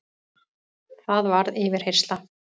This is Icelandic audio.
Það varð yfirheyrsla.